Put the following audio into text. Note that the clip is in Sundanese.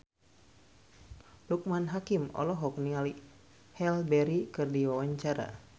Loekman Hakim olohok ningali Halle Berry keur diwawancara